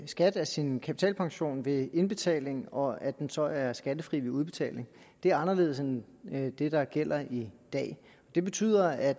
skat af sin kapitalpension ved indbetaling og at den så er skattefri ved udbetaling det er anderledes end det der gælder i dag det betyder at